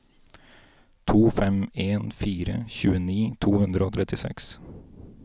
to fem en fire tjueni to hundre og trettiseks